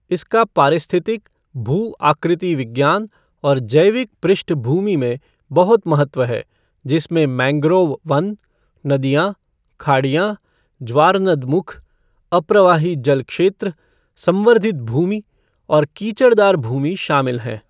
इसका पारिस्थितिक, भू आकृति विज्ञान और जैविक पृष्ठभूमि में बहुत महत्व है, जिसमें मैंग्रोव वन, नदियाँ, खाड़ियाँ, ज्वारनदमुख, अप्रवाही जल क्षेत्र, संवर्धित भूमि और कीचड़दार भूमि शामिल हैं।